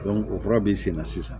o fura b'i sen na sisan